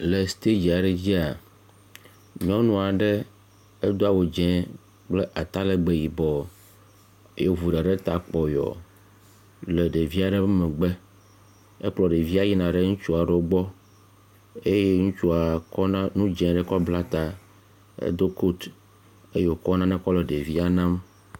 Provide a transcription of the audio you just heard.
Le stadzi aɖe dzia, nyɔnu aɖe edo awu dze kple atalegbe yibɔ, ye wòvu ɖa ɖe ta kpɔyɔ le ɖevia ɖe ƒe megbe. Ekplɔ ɖevia yina ɖe ŋutsua aɖewo gbɔ eye ŋutsua kɔna nu dze aɖe bla ta. Edo kot eye wòkɔ nane kɔ le ɖevia nam.